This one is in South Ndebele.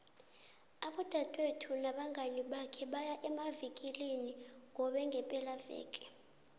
udadwethu nabangani bakhe baya emavikilina qobe ngepelaveke